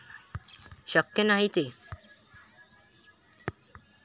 शक्य नाही ते.